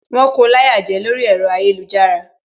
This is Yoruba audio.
Wón ko láyà jẹ lórí ẹ̀rọ ayélujára